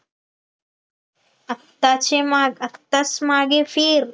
आताच ये माग आताच मागे फिर